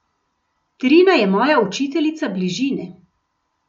Trina je moja učiteljica bližine.